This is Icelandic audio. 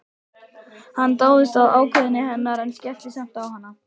Hann dáðist að ákveðni hennar en skellti samt á hana.